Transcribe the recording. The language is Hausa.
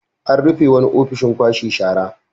An rufe wani ofishin kwashe shara.